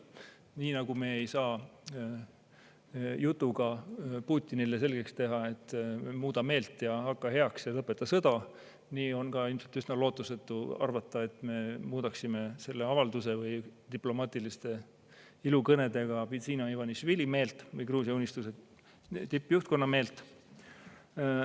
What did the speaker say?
Nii nagu me ei saa jutuga Putinile selgeks teha, et muuda meelt ja hakka heaks ja lõpeta sõda, nii on ilmselt üsna lootusetu arvata, et me muudaksime selle avalduse või diplomaatiliste ilukõnedega Bidzina Ivanišvili meelt või Gruusia Unistuse tippjuhtkonna meelt.